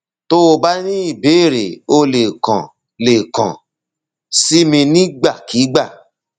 tó o bá ní ìbéèrè o lè kàn lè kàn sí mi nígbàkigbà